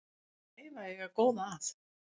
Það er gæfa að eiga góða að.